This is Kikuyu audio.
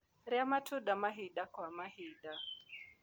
Rĩa matunda mahinda gwa mahinda